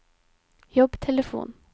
jobbtelefon